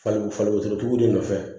Fali faliwusotigiw de nɔfɛ